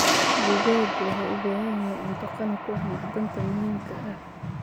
Digaagga waxay u baahan yihiin cunto qani ku ah macdanta muhiimka ah.